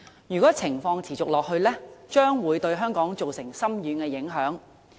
如果情況持續，將會對香港造成深遠的影響。